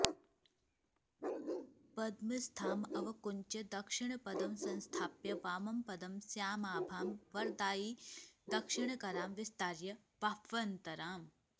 पद्मस्थामवकुञ्च्य दक्षिणपदं संस्थाप्य वामं पदं श्यामाभां वरदायिदक्षिणकरां विस्तार्य बाह्वन्तराम्